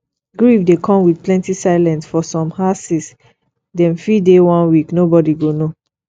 grief dey come with plenty silence for some houses dem fit dey one week nobody go know